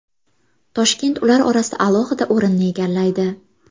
Toshkent ular orasida alohida o‘rinni egallaydi.